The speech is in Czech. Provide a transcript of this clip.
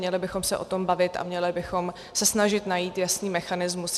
Měli bychom se o tom bavit a měli bychom se snažit najít jasný mechanismus.